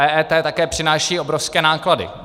EET taky přináší obrovské náklady.